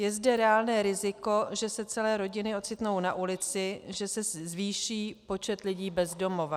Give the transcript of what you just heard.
Je zde reálné riziko, že se celé rodiny ocitnou na ulici, že se zvýší počet lidí bez domova.